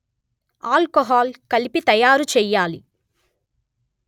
alcohol కలిపి తయారుచెయ్యాలి